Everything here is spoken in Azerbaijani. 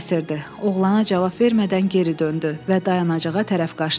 Oğlana cavab vermədən geri döndü və dayanacağa tərəf qaçdı.